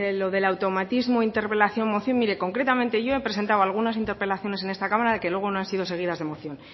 lo del automatismo interpelación moción mire concretamente yo he presentado algunas interpelaciones en esta cámara que luego no han sido seguidas de moción